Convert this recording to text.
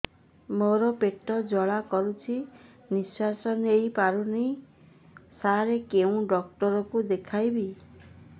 ମୋର ପେଟ ଜ୍ୱାଳା କରୁଛି ନିଶ୍ୱାସ ନେଇ ପାରୁନାହିଁ ସାର କେଉଁ ଡକ୍ଟର କୁ ଦେଖାଇବି